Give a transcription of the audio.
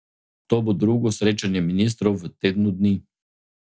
To bo drugo srečanje ministrov v tednu dni.